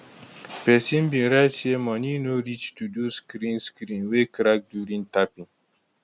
pesin bin write say money no reach to do screen screen wey crack during tapping